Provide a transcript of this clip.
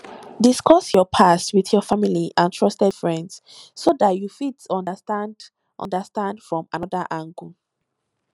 discuss your past with your family and trusted friends so dat you fit understand understand from anoda angle